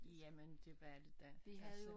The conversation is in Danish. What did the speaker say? Jamen det var det da altså